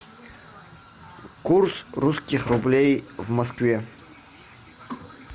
курс русских рублей в москве